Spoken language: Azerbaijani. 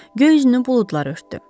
Göy üzünü buludlar örtdü.